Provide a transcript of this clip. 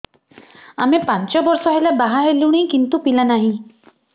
ଆମେ ପାଞ୍ଚ ବର୍ଷ ହେଲା ବାହା ହେଲୁଣି କିନ୍ତୁ ପିଲା ନାହିଁ